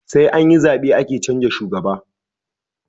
Sai anyi zabe ake canza shugaba